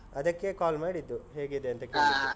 ಅದಕ್ಕೇ call ಮಾಡಿದ್ದು, ಹೇಗಿದೆ ಅಂತ .